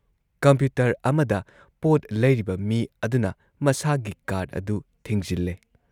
Computer ꯑꯃꯗ ꯄꯣꯠ ꯂꯩꯔꯤꯕ ꯃꯤ ꯑꯗꯨꯅ ꯃꯁꯥꯒꯤ ꯀꯥꯔꯗ ꯑꯗꯨ ꯊꯤꯡꯖꯤꯜꯂꯦ ꯫